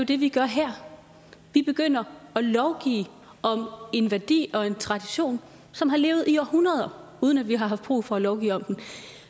det vi gør her vi begynder at lovgive om en værdi og en tradition som har levet i århundreder uden at vi har haft brug for at lovgive om den